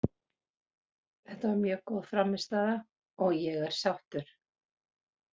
Þetta var mjög góð frammistaða og ég er sáttur.